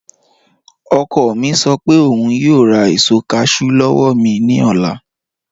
Ọkọ̀ mi sọ pé ọún yòò rá èṣò cashew lọ́wọ́ mi ni ọlá